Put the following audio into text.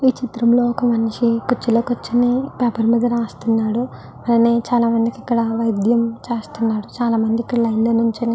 ఈ చిత్రంలో ఒక మనిషి కుర్చీలో కూర్చుని పేపర్ మీద రాస్తున్నాడు చాలామందికి వైద్యం చేస్తున్నారు చాలామంది ఇక్కడ లైన్ లో నించుని.